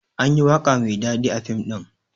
anyi waƙa Mai daɗi a fim ɗin